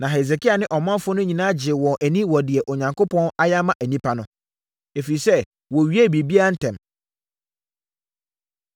Na Hesekia ne ɔmanfoɔ no nyinaa gyee wɔn ani wɔ deɛ Onyankopɔn ayɛ ama nnipa no, ɛfiri sɛ wɔwiee biribiara ntɛm.